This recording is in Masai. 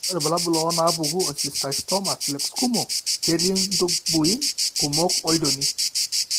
Ore irbulabul onaapuku eSteatocystoma plexkumo ketii intubuin kumok olchoni.